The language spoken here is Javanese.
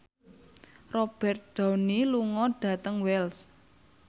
Robert Downey lunga dhateng Wells